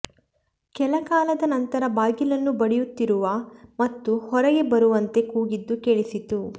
ಕೆಲಕಾಲದ ನಂತರ ಬಾಗಿಲನ್ನು ಬಡಿಯುತ್ತಿರುವ ಮತ್ತು ಹೊರಗೆ ಬರುವಂತೆ ಕೂಗಿದ್ದು ಕೇಳಿಸಿತು